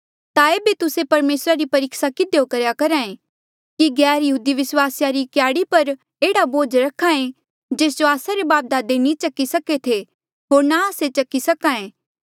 ता एेबे तुस्से परमेसरा री परीक्सा किधियो करेया करहा ऐें कि गैरयहूदी विस्वासिया री क्याड़ी पर एह्ड़ा बोझ रखे जेस जो आस्सा रे बापदादे नी चकी सके थे होर ना आस्से चकी सक्हा ऐें